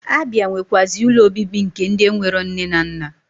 Abia nwekwazi ụlọ obibi nke ndi enwereo nne na nna.